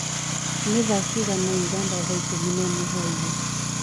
ni thaa cĩĩgana ũganda thaa ĩkũmĩ naĩmwe hwaĩnĩ